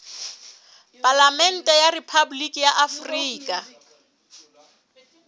palamente ya rephaboliki ya afrika